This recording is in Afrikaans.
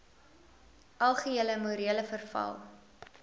algehele morele verval